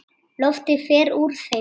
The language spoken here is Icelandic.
Loftið fer úr þeim.